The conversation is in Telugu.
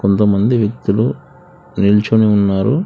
కొంత మంది వ్యక్తులు నిల్చుని ఉన్నారు.